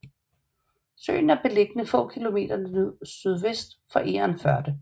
Søen er beliggende få kilometer sydvest for Egernførde